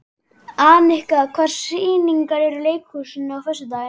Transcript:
Anika, hvaða sýningar eru í leikhúsinu á föstudaginn?